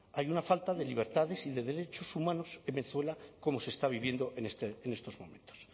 hay una falta de libertades y de derechos humanos en venezuela como se está viviendo en estos momentos